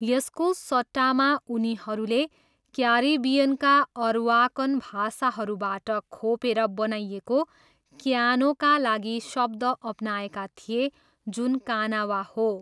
यसको सट्टामा उनीहरूले क्यारिबियनका अरवाकन भाषाहरूबाट खोपेर बनाइएको क्यानोका लागि शब्द अपनाएका थिए जुन कानावा हो।